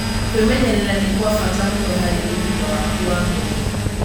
Kwĩmenyerera nĩ kwa bata mũno harĩ ũgima waku wa mwĩrĩ.